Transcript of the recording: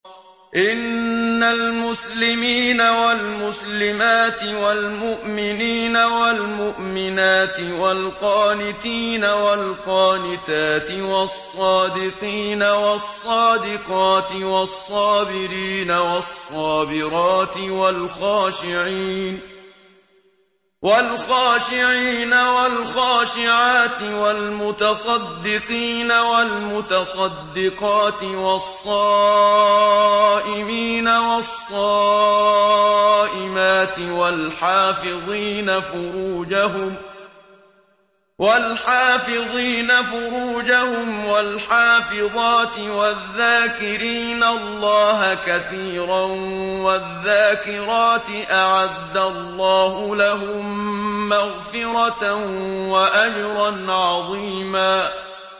إِنَّ الْمُسْلِمِينَ وَالْمُسْلِمَاتِ وَالْمُؤْمِنِينَ وَالْمُؤْمِنَاتِ وَالْقَانِتِينَ وَالْقَانِتَاتِ وَالصَّادِقِينَ وَالصَّادِقَاتِ وَالصَّابِرِينَ وَالصَّابِرَاتِ وَالْخَاشِعِينَ وَالْخَاشِعَاتِ وَالْمُتَصَدِّقِينَ وَالْمُتَصَدِّقَاتِ وَالصَّائِمِينَ وَالصَّائِمَاتِ وَالْحَافِظِينَ فُرُوجَهُمْ وَالْحَافِظَاتِ وَالذَّاكِرِينَ اللَّهَ كَثِيرًا وَالذَّاكِرَاتِ أَعَدَّ اللَّهُ لَهُم مَّغْفِرَةً وَأَجْرًا عَظِيمًا